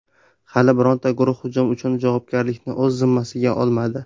Hali bironta guruh hujum uchun javobgarlikni o‘z zimmasiga olmadi.